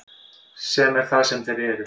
Sem er það sem þeir eru.